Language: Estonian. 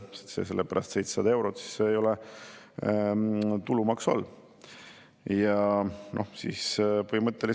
Kui neil on palk näiteks 10 000 eurot – see on see näide, mille ma täna siin saalis tõin –, siis saavad nad 140 eurot juurde, sellepärast et 700 eurot ei ole tulumaksu all.